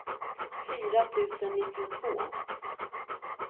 fyra tusen nittiotvå